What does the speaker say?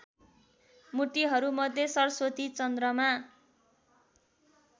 मूर्तिहरूमध्ये सरस्वती चन्द्रमा